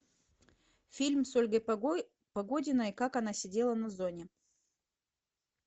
фильм с ольгой погодиной как она сидела на зоне